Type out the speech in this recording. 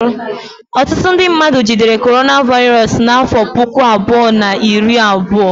Ọtụtụ ndị mmadụ jidere Coronavirus n'afọ puku abụọ na iri abụọ